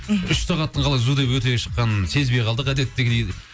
мхм үш сағаттың қалай зу деп өте шыққанын сезбей қалдық әдеттегідей